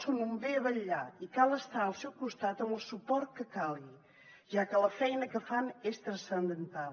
són un bé a vetllar i cal estar al seu costat amb el suport que calgui ja que la feina que fan és transcendental